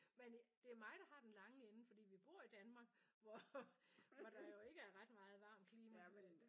Men det er mig der har den lange ende fordi vi bor i Danmark hvor hvor der jo ikke er ret meget varmt klima